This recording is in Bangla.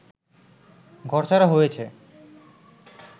ঘরছাড়া হয়েছে